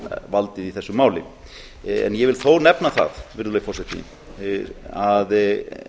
valdið í þessu máli ég vil þó nefna það að